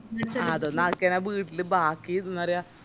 അതൊന്നും ആക്കികയിഞ്ഞ വീട്ടില് ബാക്കി എന്ന പറയാ